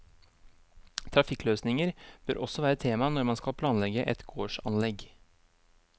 Trafikkløsninger bør også være tema når man skal planlegge et gårdsanlegg.